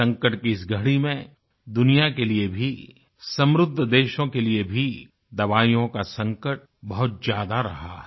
संकट की इस घड़ी में दुनिया के लिए भी समृद्ध देशों के लिए भी दवाईयों का संकट बहुत ज्यादा रहा है